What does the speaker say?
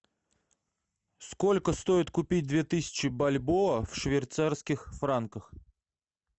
сколько стоит купить две тысячи бальбоа в швейцарских франках